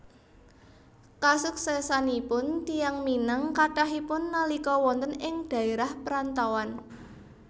Kasuksésanipun tiyang Minang kathahipun nalika wonten ing dhaérah parantauan